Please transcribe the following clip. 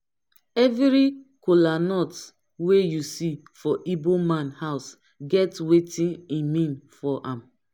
evri kolanut wey yu see for igboman house get wetin e mean for am